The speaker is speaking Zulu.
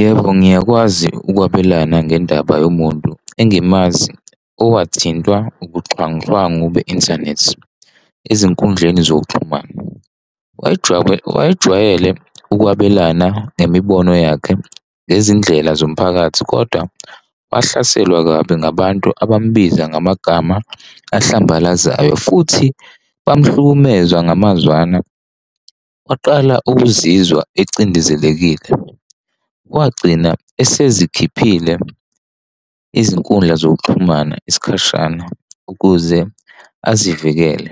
Yebo, ngiyakwazi ukwabelana ngendaba yomuntu angimazi owathintwa ubuxhwanguxhwangu be-inthanethi ezinkundleni zokuxhumana. Wayejwayele ukwabelana ngemibono yakhe ngezindlela zomphakathi kodwa wahlaselwa kabi ngabantu abambiza ngamagama ahlambalazayo futhi bamhlukumeza ngamazwana, waqala ukuzizwa acindezelekile. Wagcina esezikhiphile izinkundla zokuxhumana isikhashana ukuze azivikele.